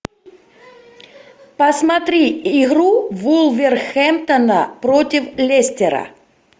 посмотри игру вулверхэмптона против лестера